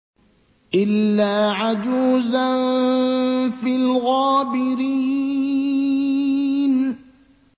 إِلَّا عَجُوزًا فِي الْغَابِرِينَ